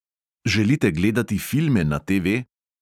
Želite gledati filme na TV?